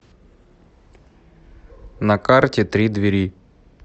на карте три двери